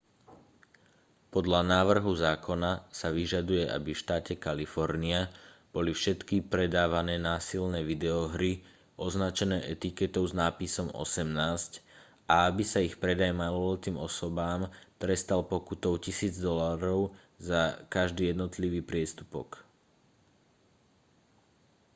podľa návrhu zákona sa vyžaduje aby v štáte kalifornia boli všetky predávané násilné videohry označené etiketou s nápisom 18 a aby sa ich predaj maloletým osobám trestal pokutou 1 000 dolárov za každý jednotlivý priestupok